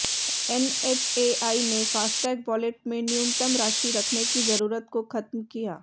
NHAI ने FASTag wallet में न्यूनतम राशि रखने की जरूरत को खत्म किया